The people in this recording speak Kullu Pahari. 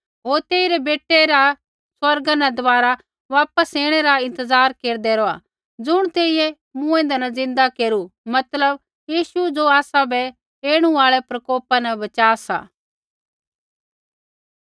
होर तेइरै बेटै री स्वर्गा न दबारा वापस ऐणै री इंतज़ार केरदै रौहा ज़ुण तेइयै मूँऐंदै न ज़िन्दा केरू मतलब यीशु ज़ो आसाबै ऐणु आल़ै प्रकोपा न बच़ा सा